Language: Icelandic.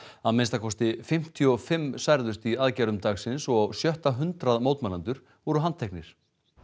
að minnsta kosti fimmtíu og fimm særðust í aðgerðum dagsins og á sjötta hundrað mótmælendur voru handteknir